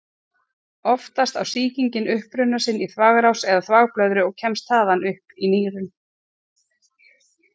Oftast á sýkingin uppruna sinn í þvagrás eða þvagblöðru og kemst þaðan upp í nýrun.